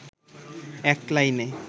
এক লাইনে